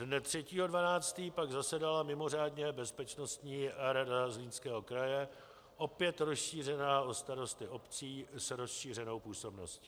Dne 3. 12. pak zasedala mimořádně Bezpečnostní rada Zlínského kraje, opět rozšířená o starosty obcí s rozšířenou působností.